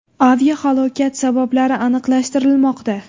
Aviahalokat sabablari aniqlashtirilmoqda.